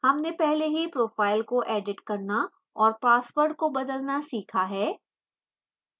हमने पहले ही profile को edit करना और password को बदलना सीखा है